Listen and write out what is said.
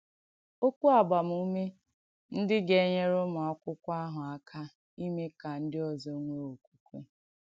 Okwu Àgbàmùmè Ndí Gà-ènyèrè Ụ́mù Àkụ̀kwọ̀ àhụ Àkà Ìmè Kà Ndí Ọ̀zọ̀ Nwèè Òkwùkwè